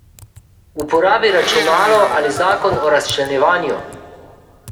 Uporabi računalo ali zakon o razčlenjevanju.